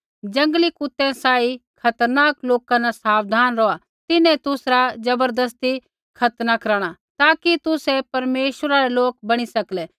जंगली कुतै सांही खतरनाक लोका न साबधान रौहा तिन्हैं तुसरा ज़बरदस्ती खतना कराणा ताकि तुसै परमेश्वरा रै लोक बणी सकलै